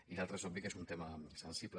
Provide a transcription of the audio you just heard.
i l’altre és obvi que es un tema sensible